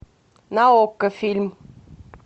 на окко фильм